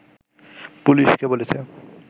পুলিশকে বলেছে